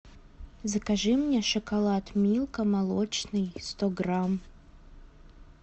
закажи мне шоколад милка молочный сто грамм